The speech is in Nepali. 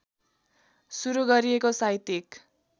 सुरु गरिएको साहित्यिक